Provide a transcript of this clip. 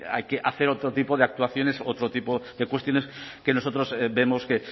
hay que hacer otro tipo de actuaciones otro tipo de cuestiones que nosotros vemos que